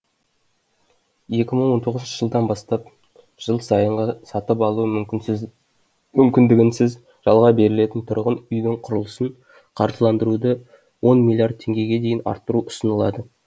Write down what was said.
екі мың он тоғызыншы жылдан бастап жыл сайынғы сатып алу мүмкіндігінсіз жалға берілетін тұрғын үйдің құрылысын қаржыландыруды он миллиард теңгеге дейін арттыру ұсынылады